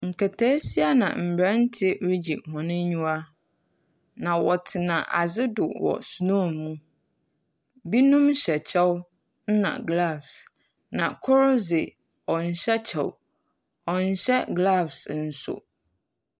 Nketesia ne ! mmaranteɛ regye wɔn ani. Na wɔtena ade so wɔ snow mu. Binom hyɛ kyɛw na glɔfs. Na koro dze ɔnhyɛ kyɛw ɔnhyɛ glɔfs nso.